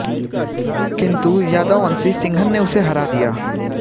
किन्तु यादव वंशी सिंघन ने उसे हरा दिया